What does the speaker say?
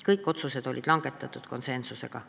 Kõik otsused langetati konsensuslikult.